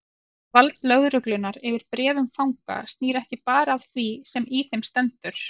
Vald lögreglunnar yfir bréfum fanga snýr ekki bara að því sem í þeim stendur.